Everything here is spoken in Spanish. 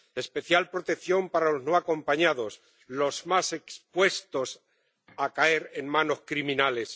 Especial protección para los no acompañados, los más expuestos a caer en manos criminales.